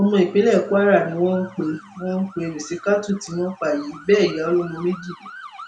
ọmọ ìpínlẹ kwara ni wọn pe wọn pe rìsítákù tí wọn pa yìí bẹẹ ìyá ọlọmọ méjì ni